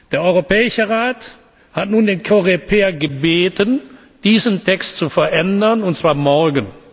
Der Europäische Rat hat nun den Coreper gebeten, diesen Text abzuändern, und zwar morgen.